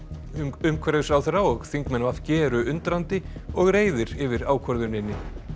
umhverfisráðherra og þingmenn v g eru undrandi og reiðir yfir ákvörðuninni